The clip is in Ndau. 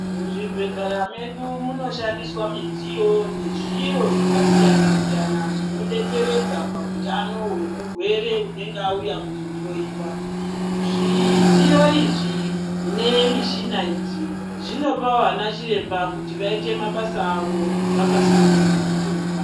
Mu zvibhedhlera medu muno shandiswa midziyo ne zviro zvaka siyana siyana zvino detseredza pa hutano hwe murwere unenge auya kuzo hloyiwa zvidziyo izvi ne mishina idzi zvino pavo ana chiremba kuti vaite mabasa avo vaka sundunguka.